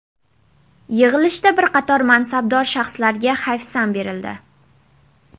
Yig‘ilishda bir qator mansabdor shaxslarga hayfsan berildi .